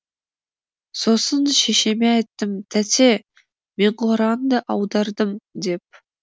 сосын шешеме айттым тәте мен құранды аудардым деп